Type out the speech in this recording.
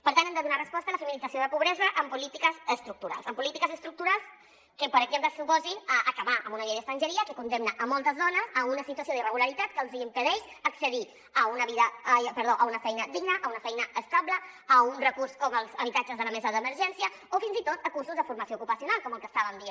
per tant hem de donar resposta a la feminització de la pobresa amb polítiques estructurals amb polítiques estructurals que per exemple suposin acabar amb una llei d’estrangeria que condemna moltes dones a una situació d’irregularitat que els impedeix accedir a una feina digna a una feina estable a un recurs com els habitat·ges de la mesa d’emergència o fins i tot a cursos de formació ocupacional com el que estàvem dient